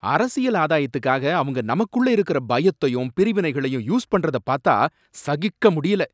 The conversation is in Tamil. அரசியல் ஆதாயத்துக்காக அவங்க நமக்குள்ள இருக்கற பயத்தையும் பிரிவினைகளையும் யூஸ் பண்ணறத பாத்தா சகிக்க முடியல.